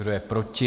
Kdo je proti?